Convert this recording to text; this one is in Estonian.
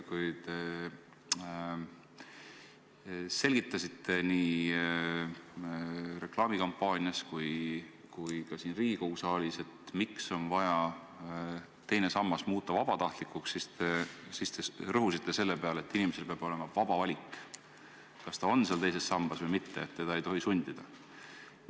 Kui te selgitasite nii reklaamikampaanias kui ka siin Riigikogu saalis, miks on vaja teine sammas muuta vabatahtlikuks, siis te rõhusite selle peale, et inimesel peab olema vaba valik, kas ta on seal teises sambas või mitte, et teda ei tohi sundida.